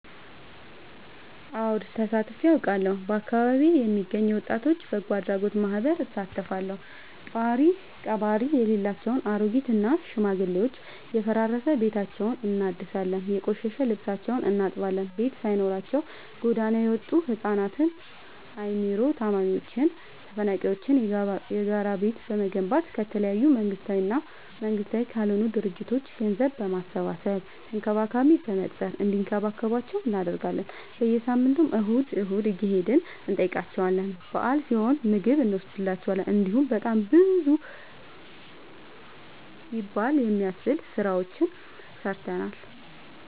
አወድ ተሳትፊ አውቃለሁ። በአካቢዬ የሚገኝ የወጣቶች በጎአድራጎት ማህበር እሳተፋለሁ። ጦሪቀባሪ የሌላቸው አሬጊት እና ሽማግሌዎችን የፈራረሰ ቤታቸውን እናድሳለን፤ የቆሸሸ ልብሳቸውን እናጥባለን፤ ቤት ሳይኖራቸው ጎዳና የወጡቱ ህፃናትን አይምሮ ታማሚዎችን ተፈናቃይዎችን የጋራ ቤት በመገንባት ከተለያዩ መንግስታዊ እና መንግስታዊ ካልሆኑ ድርጅቶች ገንዘብ በማሰባሰብ ተንከባካቢ በመቅጠር እንዲከባከቧቸው እናደርጋለን። በየሳምንቱ እሁድ እሁድ እየሄድን እንጠይቃቸዋለን በአል ሲሆን ምግብ እኖስድላቸዋለን። እንዲሁም በጣም ብዙ ይበል የሚያስብ ስራዎችን ሰርተናል።